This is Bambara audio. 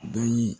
Dɔnni